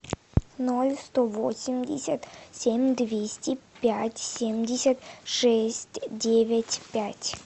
ноль сто восемьдесят семь двести пять семьдесят шесть девять пять